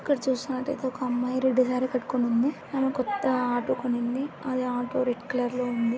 ఇక్కడ చూస్తునట్టుయితే ఒక అమ్మాయి రెడ్ సారి కట్టుకొని ఉంది. ఆమే కొత్త ఆటో కూనింది. అది ఆటో రెడ్ కలర్ లో ఉంది.